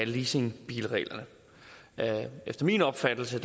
leasingbilreglerne efter min opfattelse